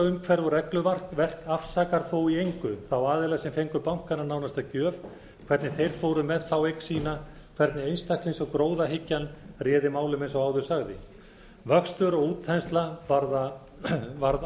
umhverfi og regluverk afsakar þó í engu þá aðila sem fengu bankana nánast að gjöf hvernig þeir fóru með þá eign sína hvernig einstaklings og gróðahyggjan réðu málum eins og áður sagði vöxtur og útþensla varð